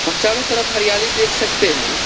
और चारों तरफ हरियाली देख सकते हैं।